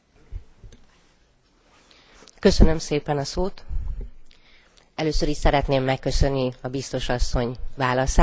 Először is szeretném megköszönni a Biztos asszony válaszát és elkötelezettségét a fogyatékosügy mellett.